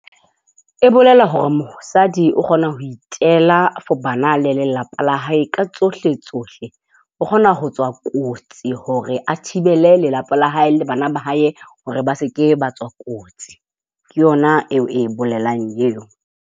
E bolela hore mosadi o kgona ho itela for bana le lelapa la hae ka tsohle tsohle. O kgona ho tswa kotsi hore a thibele lelapa la hae le bana ba hae hore ba se ke ba tswa kotsi. Ke yona eo e bolelang eo.